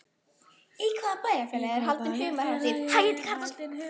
Í hvaða bæjarfélagi er haldin humarhátíð?